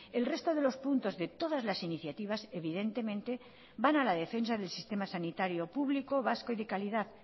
el resto de los puntos de todas las iniciativas evidentemente van a la defensa del sistema sanitario público vasco y de calidad